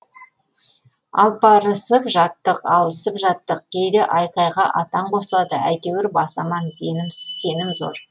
алпарысып жаттық алысып жаттық кейде айқайға атан қосылады әйтеуір бас аман сенім зор